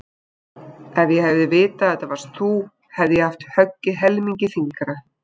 Ef ég hefði vitað að þetta varst þú hefði ég haft höggið helmingi þyngra